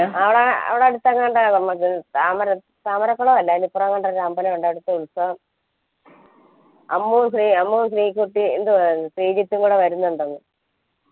ആടെ ആടുതന്നെ താമര താമരക്കുളല്ല അയണ്ടേ ഇപ്പറങ്ങാണ്ട് ആമ്പല അമ്മു ശ്രീ അമ്മു ശ്രീക്കുട്ടി ശ്രീജിത്തും കൂടാ വരനുണ്ടാന്ന്